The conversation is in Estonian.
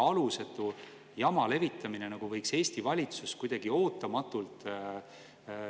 Praegu suunatakse 0,5% alkoholi‑ ja tubakaaktsiisilt kehakultuuri ja spordi sihtkapitalile ja ülejäänud jaotumised käivad hasartmängumaksu laekumisest tulenevalt omavahel.